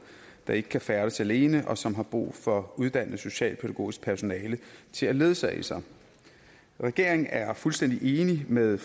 der ikke kan færdes alene og som har brug for uddannet socialpædagogisk personale til at ledsage sig regeringen er fuldstændig enig med